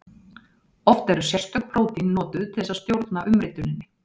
Oft eru sérstök prótín notuð til þess að stjórna umrituninni.